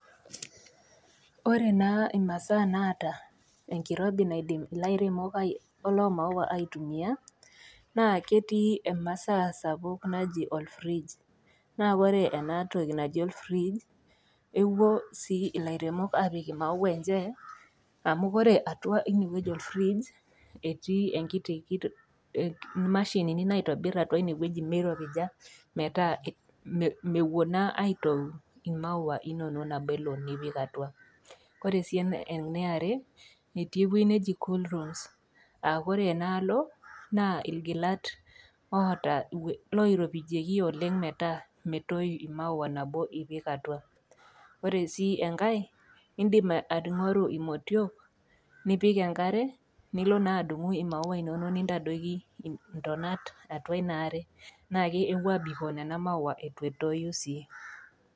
Ore naa imasaa naata enkirobi naidim ilairemok lo maua aitumia naa ketii emasaa sapuk naji olfrij. Naa ore ena toki naji olfrij ewuo sii ilairemok apik imaua enche amu ore atua ine wueji olfrij, etii enkiti, imashinini naitobir atua inewueji meiropija metaa mewuo naa atoyu imaua inono nabo elo nipik atua. Kore sii eniare, etii ewei neji cool rooms a kore enaalo naa ilgilat oata, oiropijieki oleng metaa metoyu imaua nabo ipik atua. Ore sii engai, indim aing'oru imotio nipik enkare nilo naa adung'u imaua inono nintadoiki ntonat atua ina are naa kewuo abikoo nena maua eitu etoyu sii.